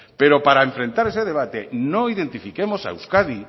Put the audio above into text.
pero para enfrentar ese debate no identifiquemos a euskadi